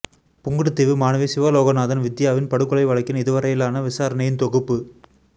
புங்குடுதீவு மாணவி சிவலோகநாதன் வித்தியாவின் படுகொலை வழக்கின் இதுவரையிலான விசாரணையின் தொகுப்பு